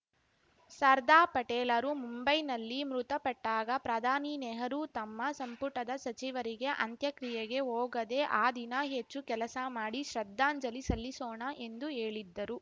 ಸರ್ದಾ ಪಟೇಲರು ಮುಂಬೈನಲ್ಲಿ ಮೃತಪಟ್ಟಾಗ ಪ್ರಧಾನಿ ನೆಹರು ತಮ್ಮ ಸಂಪುಟದ ಸಚಿವರಿಗೆ ಅಂತ್ಯಕ್ರಿಯೆಗೆ ಹೋಗದೆ ಆ ದಿನ ಹೆಚ್ಚು ಕೆಲಸ ಮಾಡಿ ಶ್ರದ್ಧಾಂಜಲಿ ಸಲ್ಲಿಸೋಣ ಎಂದು ಹೇಳಿದ್ದರು